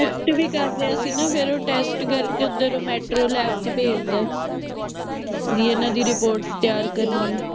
test ਵੀ ਕਰ ਲਿਆ ਸੀ ਨਾ ਫੇਰ ਓ test ਕਰਕੇ ਓਥਰ metro lab ਚ ਭੇਜਤਾ ਵੀ ਇਹਨਾਂ ਦੀ ਤਿਆਰ ਕਰਨੀ ਆ